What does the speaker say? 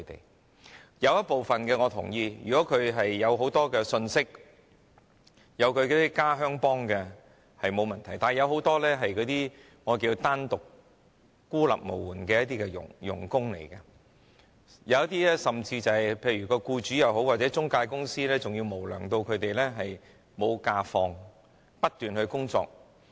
我認同有部分外傭能夠取得很多信息，有很多同鄉幫忙，但有很多傭工是單獨和孤立無援的，有些無良僱主或中介公司甚至不讓他們放假，要他們不停工作。